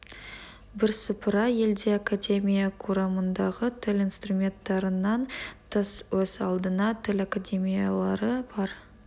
бірсыпыра елде академия құрамындағы тіл институттарынан тыс өз алдына тіл академиялары бар